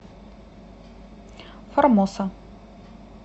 формоса